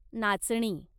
नाचणी